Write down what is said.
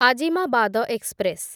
Azimabad express